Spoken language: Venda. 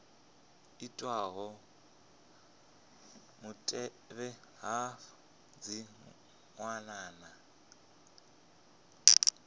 itwaho mutevhe afha dzi wanala